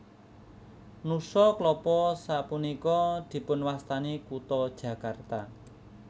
Nusa Klapa sapunika dipunwastani kutha Jakarta